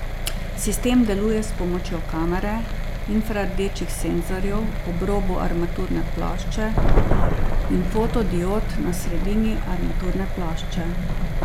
Sistem deluje s pomočjo kamere, infrardečih senzorjev ob robu armaturne plošče in fotodiod na sredini armaturne plošče.